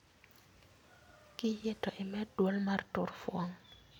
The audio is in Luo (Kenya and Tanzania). Kiyie to imed duol mar tur fuong'